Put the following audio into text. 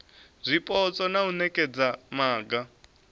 zwipotso na u nekedza maga